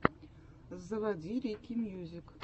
заводи рики мьюзик